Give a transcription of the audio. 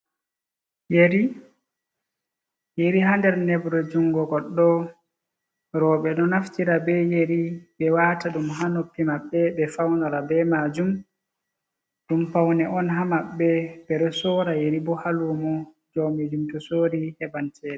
Yeri, yeri ha nder nebrey jungo goɗɗo robei ɗo naftira be yeri ɓe wata ɗum ha noppi maɓɓe ɓe faunora be majum, ɗum faune on ha maɓbe ɓe ɗo sora yeri bo ha lumo jowmi jum to sori heban chede.